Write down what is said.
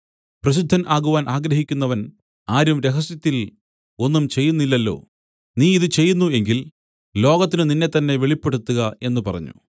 പ്രസിദ്ധൻ ആകുവാൻ ആഗ്രഹിക്കുന്നവൻ ആരും രഹസ്യത്തിൽ ഒന്നും ചെയ്യുന്നില്ലല്ലോ നീ ഇതു ചെയ്യുന്നു എങ്കിൽ ലോകത്തിനു നിന്നെത്തന്നെ വെളിപ്പെടുത്തുക എന്നു പറഞ്ഞു